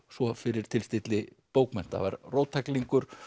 svo fyrir tilstilli bókmennta var róttæklingur